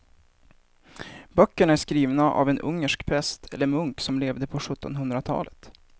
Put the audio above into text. Böckerna är skrivna av en ungersk präst eller munk som levde på sjuttonhundratalet.